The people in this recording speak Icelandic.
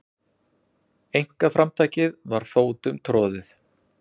Einkaframtakið var fótum troðið.